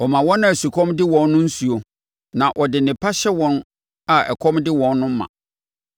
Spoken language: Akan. Ɔma wɔn a sukɔm de wɔn nsuo na ɔde nnepa hyɛ wɔn a ɛkɔm de wɔn ma.